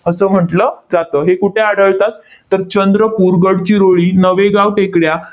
असं म्हंटल जातं. हे कुठे आढळतात? तर चंद्रपूर, गडचिरोळी, नवेगाव टेकड्या,